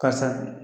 Karisa